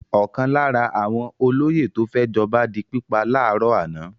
Ọ̀kan lára àwọn olóyè tó fẹ́ jọba di pípa láàárọ̀ àná.